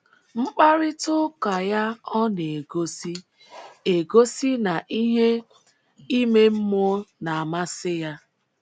Mkparịta ụka ya ọ̀ na - egosi - egosi na ihe ime mmụọ na - amasị ya?